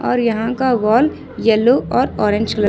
और यहां का वॉल येलो और ऑरेंज कलर --